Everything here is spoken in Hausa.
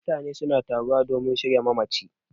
Mutane suna taruwa domin shirya mamaci